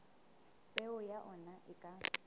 peo ya ona e ka